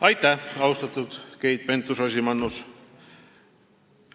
Aitäh, austatud Keit Pentus-Rosimannus!